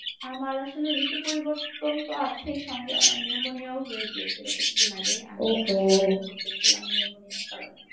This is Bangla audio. আমার আসলে ঋতু পরিবর্তন তো আছেই সঙ্গে আমার pneumonia ও হয়ে গিয়েছিল কিছুদিন আগে আমি হাসপাতালে ভর্তি ছিলাম pneumonia র কারণে।